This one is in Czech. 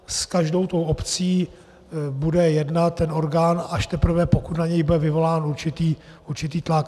S každou tou obcí bude jednat ten orgán, až teprve pokud na něj bude vyvolán určitý tlak.